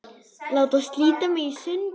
Láta slíta mig í sundur.